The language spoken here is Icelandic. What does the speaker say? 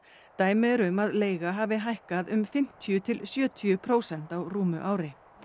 dæmi eru um að leiga hafi hækkað um fimmtíu til sjötíu prósent á rúmu ári